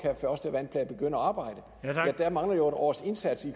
første vandplan kan begynde at arbejde der mangler jo et års indsats